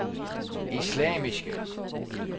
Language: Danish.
islamiske